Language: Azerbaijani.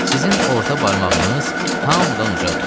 Sizin orta barmağınız hamıdan ucadır.